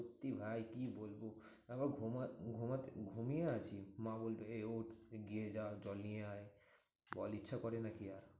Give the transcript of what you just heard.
সত্যি ভাই কি বলবো? তারপর ঘোমা~ ঘোমাতে ঘুমিয়ে আছি মা বলবে এই ওঠ তুই গিয়ে যা জল নিয়ে আয়। সকালে ইচ্ছা করে নাকি আর?